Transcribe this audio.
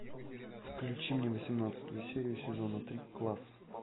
включи мне восемнадцатую серию сезона три класс